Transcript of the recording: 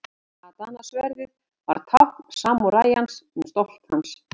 Katana-sverðið var tákn samúræjans og stolt hans.